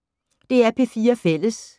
DR P4 Fælles